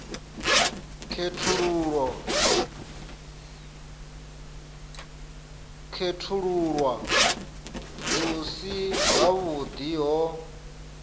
khethululwa hu si havhuḓi ho